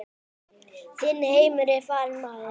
Þinn heimur er farinn maður.